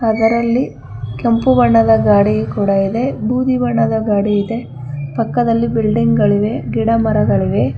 ಅದರಲ್ಲಿ ಕೆಂಪು ಬಣ್ಣದ ಗಾಡಿಯು ಕೂಡ ಇದೆ ಬೂದಿ ಬಣ್ಣದ ಗಾಡಿ ಇದೆ ಪಕ್ಕದಲ್ಲಿ ಬಿಲ್ಡಿಂಗ್ ಗಳಿವೆ ಗಿಡ ಮರಗಳಿವೆ.